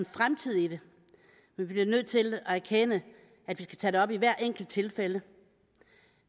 fremtid i det bliver vi nødt til at erkende at vi skal tage det op i hvert enkelt tilfælde